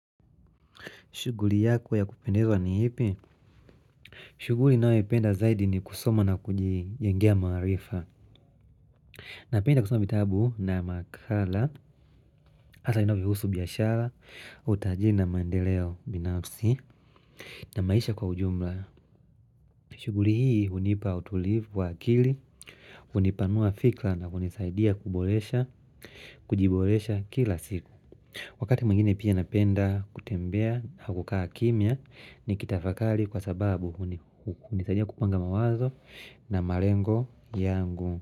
Shughuli yako ya kupendezwa ni ipi? Shughuli ninayoipenda zaidi ni kusoma na kujijengea mawarifa. Napenda kusoma bitabu na makala, hasa inavyo husu biashara, utajiri na mandeleo binafsi. Na maisha kwa ujumla. Shughuli hii unipa utulivu wa akili, hunipanua fikra na kunisaidia kuboresha, kujiboresha kila siku. Wakati mwingine pia napenda kutembea na kukaa kimia ni kitafakari kwa sababu hunisadia kupanga mawazo na marengo yangu.